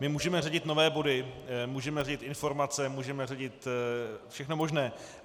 My můžeme řadit nové body, můžeme řadit informace, můžeme řadit všechno možné.